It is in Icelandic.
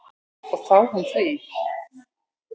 Og þá hún þú.